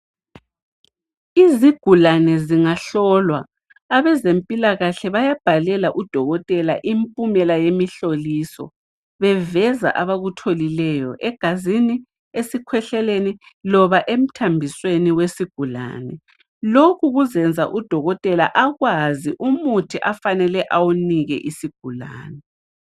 Izigulane zingahlolwa abezempilakahle bayabhalela udokotela impumela yemihloliso beveza abakutholileyo egazini esikhwehleleni loba emthambisweni wezigulane lokhu kuzenza udokotela akwazi umuthi afanele awunike isigulani